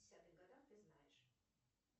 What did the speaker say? десятых годах ты знаешь